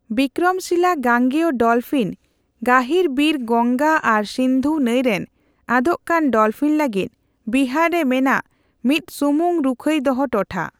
ᱵᱤᱠᱨᱚᱢᱥᱤᱞᱟ ᱜᱟᱝᱜᱮᱭᱚ ᱰᱚᱞᱯᱷᱤᱱ ᱜᱟᱹᱦᱤᱨᱵᱤᱨᱺ ᱜᱚᱝᱜᱟ ᱟᱨ ᱥᱤᱱᱫᱷᱩ ᱱᱟᱹᱭ ᱨᱮᱱ ᱟᱫᱳᱜᱠᱟᱱ ᱰᱚᱞᱯᱷᱤᱱ ᱞᱟᱹᱜᱤᱫ ᱵᱤᱦᱟᱨ ᱨᱮ ᱢᱮᱱᱟᱜ ᱢᱤᱫᱥᱩᱢᱩᱝ ᱨᱩᱠᱷᱟᱹᱭ ᱫᱚᱦᱚ ᱴᱚᱴᱷᱟ ᱾